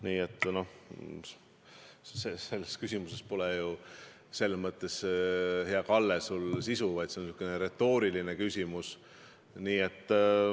Nii et selles küsimuses, hea Kalle, küsimuse sisu pole, see on säärane retooriline küsimus.